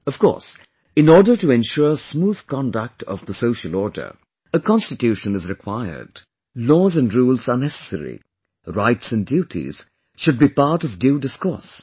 Of course, in order to ensure smooth conduct of the social order, a constitution is required... laws & rules are necessary, rights and duties should be part of due discourse